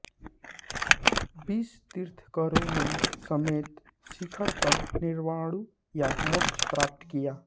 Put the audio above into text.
बीस तीर्थंकरों ने समेत शिखर पर निर्वाणु या मोक्ष प्राप्त किया